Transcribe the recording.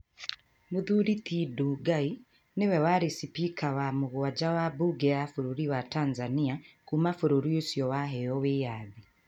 Mũthuri ti Ndugai nĩwe warĩ cipika wa mũgwanja wa mbunge ya bũrũri wa Tanzania kuuma bũrũri ũcio waheyo wĩyathi.